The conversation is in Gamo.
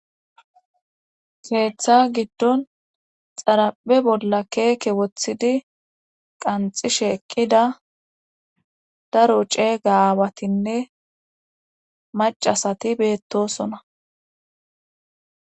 keeththa giddon xaraphe bolla keeke wothidi qanxishe eqqida daro ceega awatinne macasati beettosona.